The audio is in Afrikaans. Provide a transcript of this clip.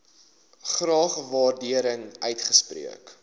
graag waardering uitspreek